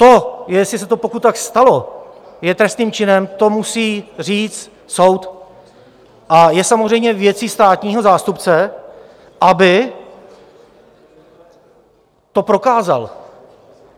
To, jestli se to, pokud tak stalo, je trestným činem, to musí říct soud a je samozřejmě věcí státního zástupce, aby to prokázal.